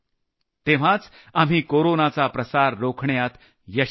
तेव्हाच आपण कोरोनाचा प्रसार रोखण्यात यशस्वी होऊ